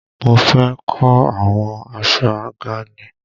Mo fé kò àwọn aṣọ àga ni.